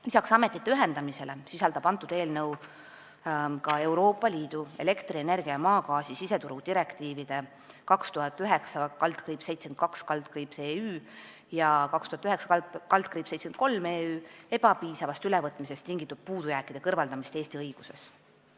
Lisaks ametite ühendamisele sisaldab eelnõu Euroopa Liidu elektrituru ja maagaasi siseturu direktiivide 2009/72/EÜ ja 2009/73/EÜ ebapiisavast ülevõtmisest tingitud puudujääkide kõrvaldamist Eesti õiguses.